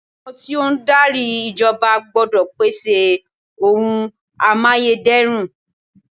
Àwọn tí ó ń darí ìjọba gbọ́dọ̀ pèsè oun amáyédẹrùn.